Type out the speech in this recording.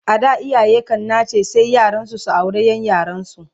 A da iyaye kan nace sai yaransu su aure Ƴan yaransu